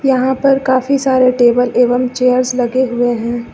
यहां पर काफी सारे टेबल एवं चेयर्स लगे हुए हैं।